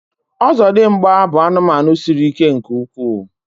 ọzọdịmgba bụ anụmanụ siri ike nke ukwuu